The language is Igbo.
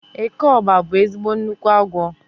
Eke ọ́gba bụ ezigbo nnukwu agwọ